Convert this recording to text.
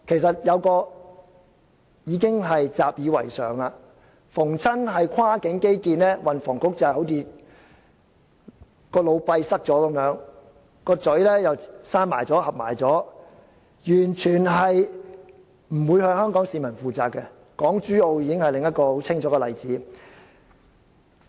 這已是習以為常的事，凡是涉及跨境基建，運房局就好像腦閉塞般，又把嘴巴合上，完全不會向香港市民負責，港珠澳大橋已是另一個很清楚的例子。